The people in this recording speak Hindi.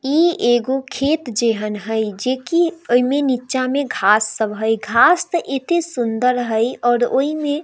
इ एगो खेत जेहन है जेकी एमें नीचा में घांस सब है घांस सब ओते सुन्दर है और ओइमे --